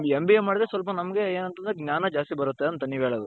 MBA ಮಾಡುದ್ರೆ ಸ್ವಲ್ಪ ನಮ್ಗೆ ಏನಂತಂದ್ರೆ ಜ್ಞಾನ ಜಾಸ್ತಿ ಬರುತ್ತೆ ಅಂತ ನೀವು ಹೇಳೋದು .